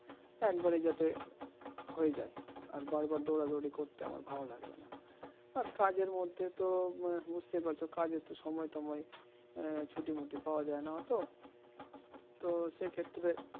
একবারে যাতে হয়ে যায় আর বারবার দৌড়াদৌড়ি করতে আমার ভালো লাগবেনা আর কাজের মধ্যে তো বুঝতেই পারছো কাজ তো সময় টময় ছুটি মুটি পাওয়া যায় না অত তো সে ক্ষেত্রে